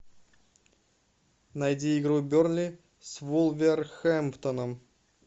найди игру бернли с вулверхэмптоном